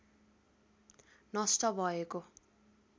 नष्‍ट भएको